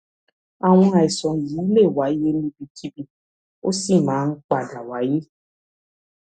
àwọn àìsàn yìí lè wáyé níbikíbi ó sì máa ń padà wáyé